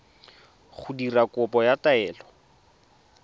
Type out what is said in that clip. go dira kopo ya taelo